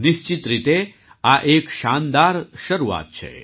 નિશ્ચિત રીતે આ એક શાનદાર શરૂઆત છે